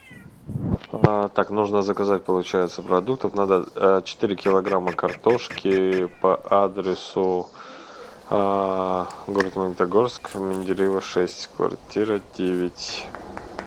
так нужно заказать получается продуктов надо четыре килограмма картошки по адресу город магнитогорск менделеева шесть квартира девять